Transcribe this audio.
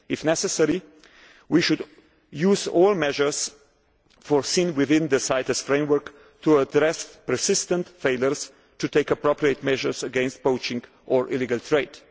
If necessary we should use all measures foreseen within the CITES framework to address persistent failures to take priority measures against poaching or illegal